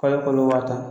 K'ale kolo wa tan